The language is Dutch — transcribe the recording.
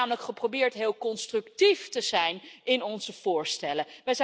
Wij hebben namelijk geprobeerd heel constructief te zijn in onze voorstellen.